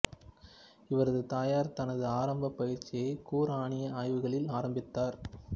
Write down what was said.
இவரது தாயார் தனது ஆரம்ப பயிற்சியை குர்ஆனிய ஆய்வுகளில் ஆரம்பித்தார்